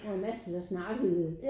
Og en masse der snakkede